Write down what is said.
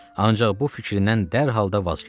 Ancaq bu fikrindən dərhal da vaz keçdi.